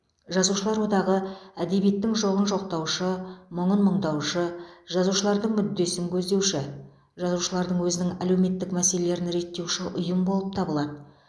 жазушылар одағы әдебиеттің жоғын жоқтаушы мұңын мұңдаушы жазушылардың мүддесін көздеуші жазушылардың өзінің әлеуметтік мәселелерін реттеуші ұйым болып табылады